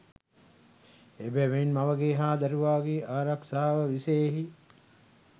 එබැවින් මවගේ හා දරුවාගේ ආරක්‍ෂාව විෂයෙහි